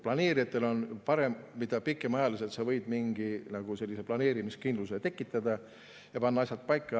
Planeerijatel on seda parem, mida pikemaajaliselt saab planeerimiskindluse tekitada ja asjad paika panna.